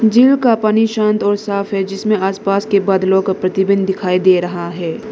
झील का पानी शांत और साफ है जिसमें आसपास के बादलों का प्रतिबिंब दिखाई दे रहा है।